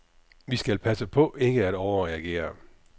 Vi skal passe på ikke at overreagere.